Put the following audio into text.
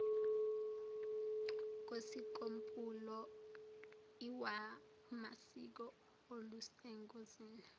kosikompulo lwamasiko olusengozini